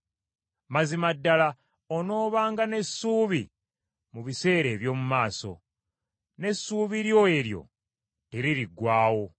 Mazima ddala onoobanga n’essuubi mu biseera eby’omu maaso, n’essuubi lyo eryo teririggwaawo.